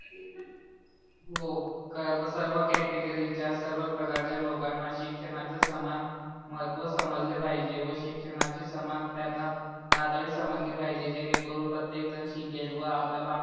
हो कारण सर्व कॅटेगरीच्या सर्व प्रकारच्या लोकांना शिक्षणाचे समान महत्व समजले पहिजे व शिक्षणाची समान त्यांना पातडी समजली पाहिजे जेणे करून प्रतेकजन शिकेल व आपल्या भारत